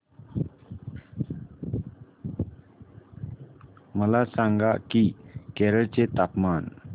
मला सांगा की केरळ चे तापमान